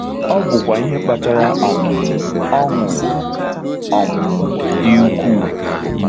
Ọ̀ bụkwa ihe kpatara um ọṅụ um dị ukwuu!